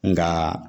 Nka